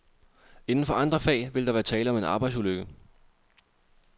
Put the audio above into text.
Inden for andre fag ville der være tale om en arbejdsulykke.